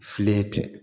Filen tɛ